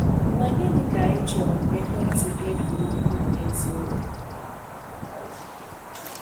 Ma gịnị ka ị chọrọ ka ekwentị gị dị ukwuu n’eziokwu?